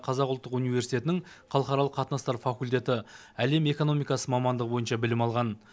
қазақ ұлттық университетінің халықаралық қатынастар факультеті әлем экономикасы мамандығы бойынша білім алған